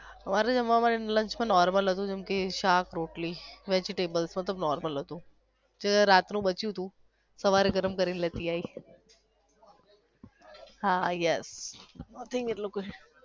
મારે જમવા મા lunch મા normal હતુ જેમ કે શાક રોટલી vegetables બધુ normal હતુ જે રાત નું બચયુંતુ સવારે ગરમ કરી ને લેતી આવી હાહા yes